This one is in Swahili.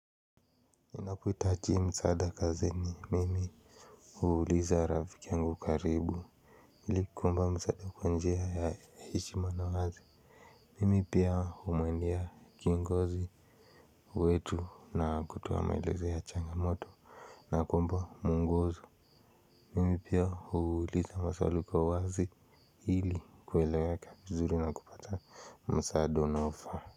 Inakuita achi msaada kazini mimi. Huuliza rafiki angu karibu. Hili kuomba msaada kwa njia ya hichimano wazi. Mimi pia humwendea kiongozi. Kwetu na kutoa maelezo ya changamoto na kuomba mwongozo. Mimi pia huuliza maswali kwa wazi. Hili kuelewa vizuri na kupata msaada unao faa.